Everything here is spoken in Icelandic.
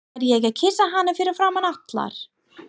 Fæ ég að kyssa hana fyrir framan alla?